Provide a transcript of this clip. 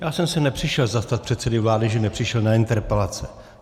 Já jsem se nepřišel zastat předsedy vlády, že nepřišel na interpelace.